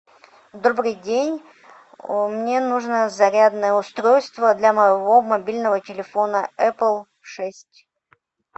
добрый день мне нужно зарядное устройство для моего мобильного телефона эпл шесть